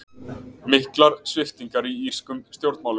Miklar sviptingar í írskum stjórnmálum